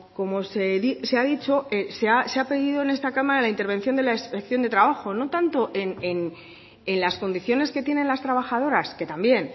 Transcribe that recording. como se ha dicho se ha pedido en esta cámara la intervención de la inspección de trabajo no tanto en las condiciones que tienen las trabajadoras que también